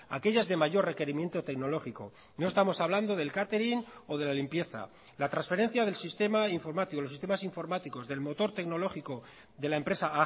aquellas de mayor requerimiento tecnológico no estamos hablando del catering o de la limpieza la transferencia del sistema informático los sistemas informáticos del motor tecnológico de la empresa a